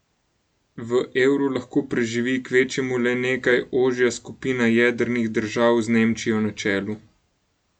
V Evru lahko preživi kvečjemu le nekaj ožja skupina jedrnih držav z Nemčijo na čelu.